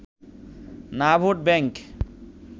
না vote bank